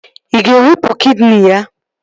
Ị ga-ewepụ kidini ya?